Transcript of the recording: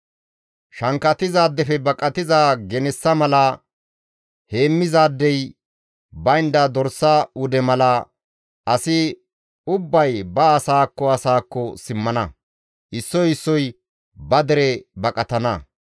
Shankkatizaadefe baqatiza genessa mala, heemmizaadey baynda dorsa wude mala, asi ubbay ba asaakko asaakko simmana; issoy issoy ba dere baqatana.